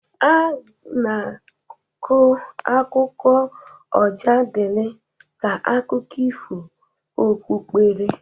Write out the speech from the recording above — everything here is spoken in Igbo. A na-agụ akụkọ Ọjadịli ka akụkụ ifo okpukpere